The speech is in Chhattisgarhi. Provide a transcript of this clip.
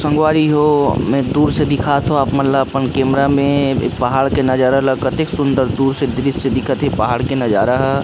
सगवरी हो दूर से दिखता हो अपन अपन ला कैमरा पहाड़ के नजारा दिखत थे एक सुंदर दूरसे दृश्य दिखत थे पहाड़ के नजारा ह।